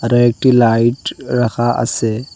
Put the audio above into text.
এটা একটি লাইট রাখা আছে।